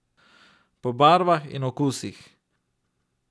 Po barvah in okusih.